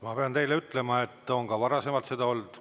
Ma pean teile ütlema, et ka varasemalt on seda olnud.